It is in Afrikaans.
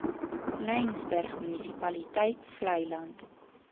laingsburg munisipaliteit vleiland